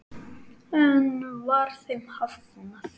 Enn var þeim hafnað.